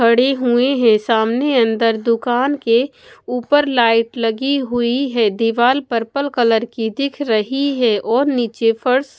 खड़ी हुई हैं सामने अंदर दुकान के ऊपर लाइट लगी हुई है दीवाल पर्पल कलर की दिख रही है और नीचे फर्श--